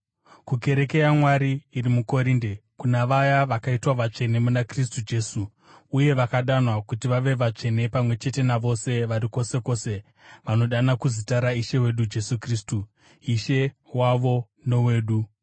kukereke yaMwari iri muKorinde, kuna vaya vakaitwa vatsvene muna Kristu Jesu uye vakadanwa kuti vave vatsvene pamwe chete navose vari kwose kwose vanodana kuzita raIshe wedu Jesu Kristu, Ishe wavo nowedu: